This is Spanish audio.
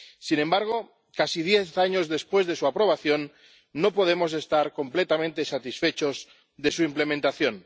Sin embargo, casi diez años después de su aprobación, no podemos estar completamente satisfechos de su implementación.